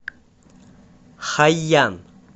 хайян